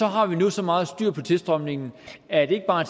har vi nu så meget styr på tilstrømningen at det ikke bare